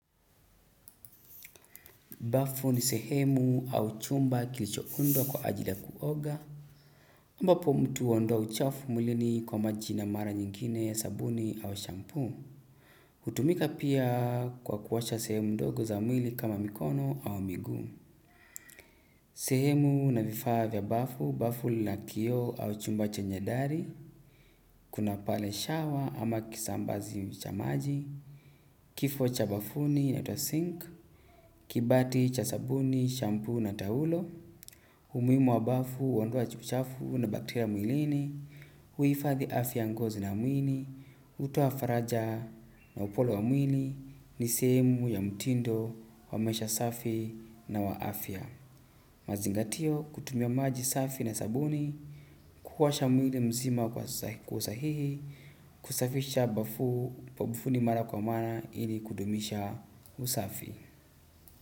Bafu ni sehemu au chumba kilichoundwa kwa ajili ya kuoga. Ambapo mtu huondoa uchafu mwilini kwa maji, na mara nyingine sabuni au shampoo. Hutumika pia kwa kuosha sehemu ndogo za mwili kama mikono au miguu. Sehemu na vifaa vya bafu: bafu lina kioo, au chumba chenye dhari. Kuna pale shawa ama kisambazi cha maji. Kifaa vya bafuni: sinki, kibati cha sabuni, shampoo na taulo. Umuhimu wa bafu: huondoa uchafu na bakteria mwilini, huhifadhi afya ya ngozi na mwili, hutoa faraja na ukunjufu wa mwili, ni sehemu ya mtindo wa maisha safi na wa afya. Mazingatio: kutumia maji safi na sabuni, kuosha mwili mzima kwa usahihi, kusafisha bafu na bafuni mara kwa mara ili kudumisha usafi.